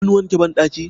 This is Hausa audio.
an wanke bandaki?